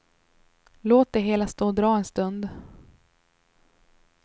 Låt det hela stå och dra en stund.